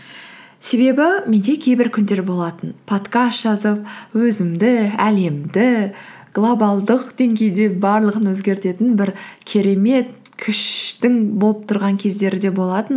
себебі менде кейбір күндер болатын подкаст жазып өзімді әлемді глобалдық деңгейде барлығын өзгертетін бір керемет күштің болып тұрған кездері де болатын